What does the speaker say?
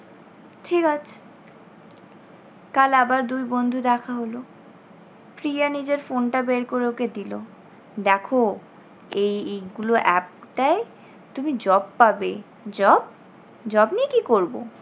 ঠিক আছে। কাল আবার দুই বন্ধু দেখা হল। প্রিয়া নিজের phone টা বের করে ওকে দিল, দেখো এই এইগুলো app টায় তুমি job পাবে job? job নিয়ে কী করব?